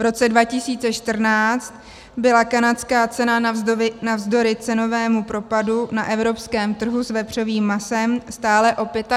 V roce 2014 byla kanadská cena navzdory cenovému propadu na evropském trhu s vepřovým masem stále o 25 % nižší.